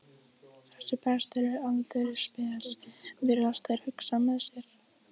Þessi prestur er aldeilis spes, virðast þeir hugsa með sér.